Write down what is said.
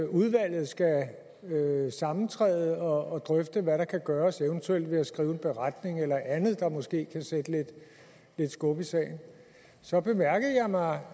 udvalget skal sammentræde og drøfte hvad der kan gøres eventuelt ved at skrive en beretning eller andet der måske kan sætte lidt skub i sagen så bemærkede jeg mig